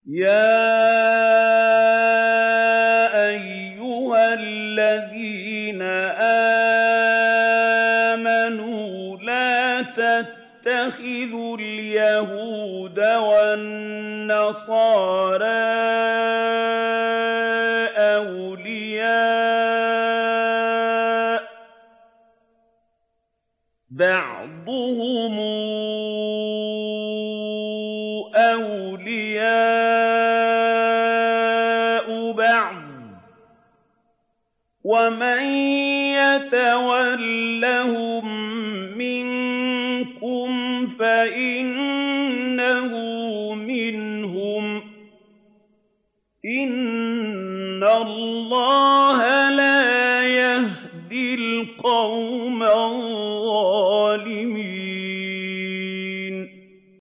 ۞ يَا أَيُّهَا الَّذِينَ آمَنُوا لَا تَتَّخِذُوا الْيَهُودَ وَالنَّصَارَىٰ أَوْلِيَاءَ ۘ بَعْضُهُمْ أَوْلِيَاءُ بَعْضٍ ۚ وَمَن يَتَوَلَّهُم مِّنكُمْ فَإِنَّهُ مِنْهُمْ ۗ إِنَّ اللَّهَ لَا يَهْدِي الْقَوْمَ الظَّالِمِينَ